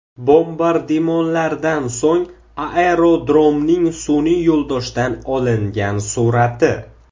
Bombardimonlardan so‘ng aerodromning sun’iy yo‘ldoshdan olingan surati.